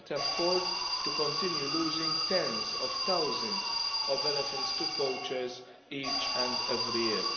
We cannot afford to continue losing tens of thousands of elephants to poachers each and every year.